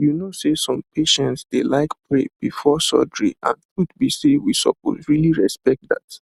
you know say some patients dey like pray before surgery and truth be say we suppose really respect that